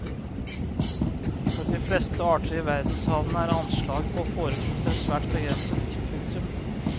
For de fleste arter i verdenshavene er anslag på forekomster svært begrenset. punktum